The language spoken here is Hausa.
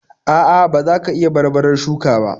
.A'a, ba za ka iya barbarar shuka ba.